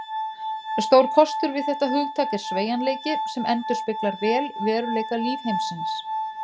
Stór kostur við þetta hugtak er sveigjanleiki, sem endurspeglar vel veruleika lífheimsins.